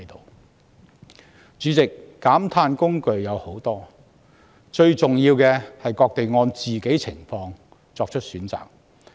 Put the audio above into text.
代理主席，減碳工具眾多，最重要的是各地按個別情況作出選擇。